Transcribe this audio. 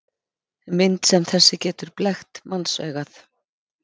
Mynd sem þessi getur blekkt mannsaugað.